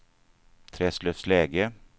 Träslövsläge